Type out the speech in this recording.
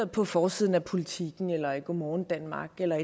på forsiden af politiken eller i godmorgen danmark eller